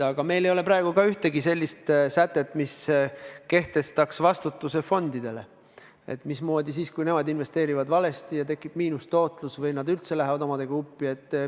Aga meil ei kehti praegu ka ühtegi sellist sätet, mis kehtestaks fondide vastutuse, kui nad investeerivad valesti ja tekib miinustootlus või nad üldse lähevad omadega uppi.